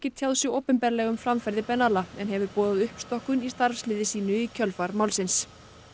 tjáð sig opinberlega um framferði en hefur boðað uppstokkun í starfsliði sínu í kjölfar málsins